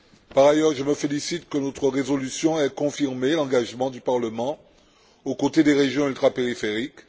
Par ailleurs, je me félicite que notre résolution ait confirmé l'engagement du Parlement aux côtés des régions ultrapériphériques.